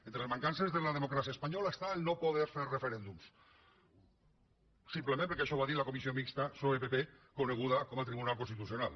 entre les mancances de la democràcia espanyola està no poder fer referèndums simplement perquè així ho ha dit la comissió mixta psoe pp coneguda com a tribunal constitucional